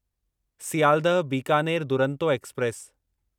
Sealdah Bikaner Duronto express